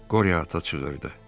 Qoryo ata çığırdı.